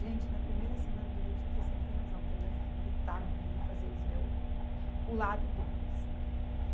Gente, na primeira semana do leite eu pensei, ele tem razão, tem mais que gritar mesmo e fazer eles ver o, o lado deles.